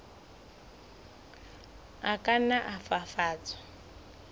a ka nna a fafatswa